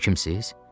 Həkimsiniz?